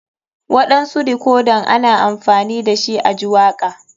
Waɗansu dikodan ana amfani dashi a ji waka.